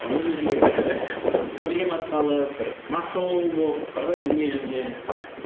өз өзіңе бір проблема салып бір масыл болып бар ғой дүниежүзіне